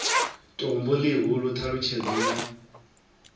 tombo ḽihulu t halutshedzo ya